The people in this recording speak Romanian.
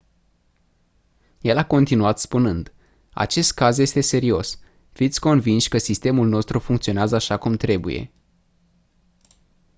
el a continuat spunând: «acest caz este serios. fiți convinși că sistemul nostru funcționează așa cum trebuie.».